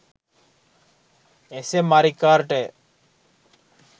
SM මරික්කාර්ටය.